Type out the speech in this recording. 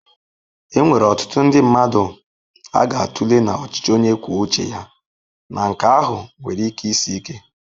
Enwere ọtụtụ ndị mmadụ ga-atụle na ọchịchị onye kwuo uche ya na nke ahụ nwere ike isi ike.